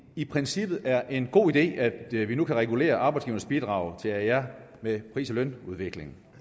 i princippet er en god idé at vi nu kan regulere arbejdsgivernes bidrag til aer med pris og lønudviklingen